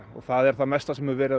og það er það mesta sem verið